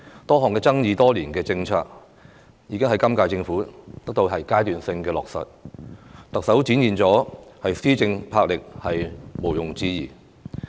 多項爭議多年的政策，也在今屆政府得到階段性落實，特首展現的施政魄力毋庸置疑。